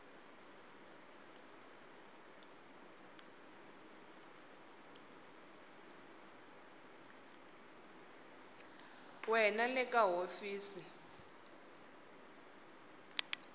we na le ka hofisi